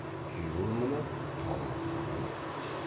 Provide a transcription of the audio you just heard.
күйеуі мұны қалмақ дейді екен